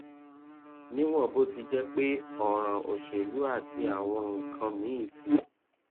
níwòn bó ti jé pé òràn òṣèlú àti àwọn nǹkan míì ti